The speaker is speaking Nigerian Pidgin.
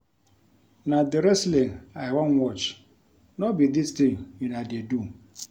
Na the wrestling I wan watch no be dis thing una dey do